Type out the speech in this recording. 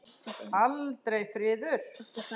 Aldrei friður.